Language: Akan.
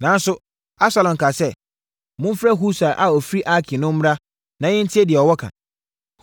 Nanso, Absalom kaa sɛ, “Momfrɛ Husai a ɔfiri Arki no mmra na yɛntie deɛ ɔwɔ ka.”